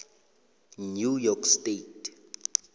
new york state